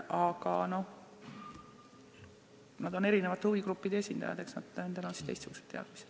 Aga seal on erinevate huvigruppide esindajad, eks nendel ole siis teistsugused teadmised.